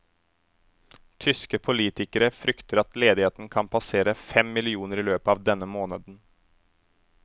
Tyske politikere frykter at ledigheten kan passere fem millioner i løpet av denne måneden.